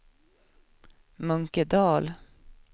Munkedal